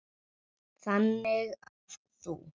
Þannig að þú.